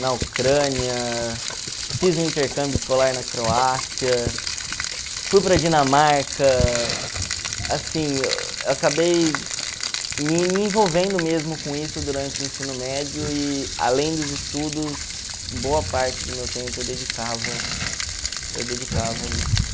na Ucrânia, fiz um intercâmbio escolar na Croácia, fui para a Dinamarca, assim, eu acabei me me envolvendo mesmo com isso durante o ensino médio e além dos estudos, boa parte do meu tempo eu dedicava eu dedicava a isso.